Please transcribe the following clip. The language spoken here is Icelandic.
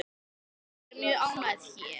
Ég er mjög ánægð hér.